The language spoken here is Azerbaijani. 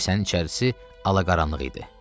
Kilsənin içərisi ala-qaranlıq idi.